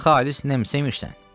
Sən xalis Nemsemsən?